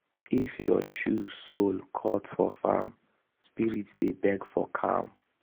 if your shoe sole cut for farm spirit dey beg for calm.